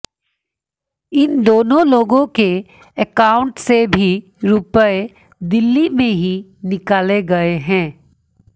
इन दोनों लोगों के अकाउंट से भी रुपये दिल्ली में ही निकाले गए हैं